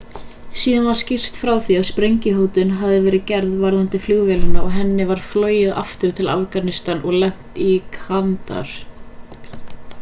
síðar var skýrt frá því að sprengjuhótun hafi verið gerð varðandi flugvélina og henni var flogið aftur til afganistan og lent í kandahar